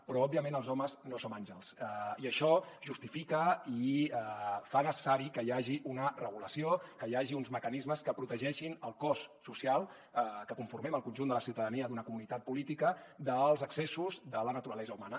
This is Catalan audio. però òbviament els homes no som àngels i això justifica i fa necessari que hi hagi una regulació que hi hagi uns mecanismes que protegeixin el cos social que conformem el conjunt de la ciutadania d’una comunitat política dels excessos de la naturalesa humana